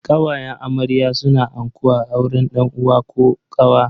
Kawayen amarya suna anko a auren dan uwa ko kawa.